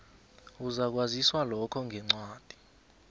uzakwaziswa lokho ngencwadi